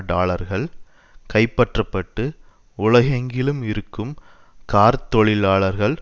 டாலர்கள் கைப்பற்றப்பட்டு உலகெங்கிலும் இருக்கும் கார்த் தொழிலாளர்களுடன்